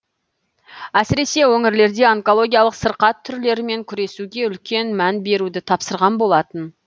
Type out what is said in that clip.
әсіресе өңірлерде онкологиялық сырқат түрлерімен күресуге үлкен мән беруді тапсырған болатын